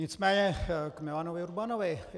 Nicméně k Milanu Urbanovi.